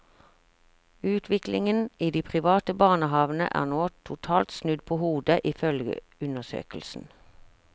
Utviklingen i de private barnehavene er nå totalt snudd på hodet, ifølge undersøkelsen.